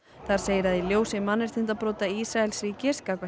þar segir að í ljósi mannréttindabrota Ísraelsríkis gagnvart